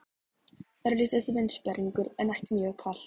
Örlítill vindsperringur en ekki mjög kalt.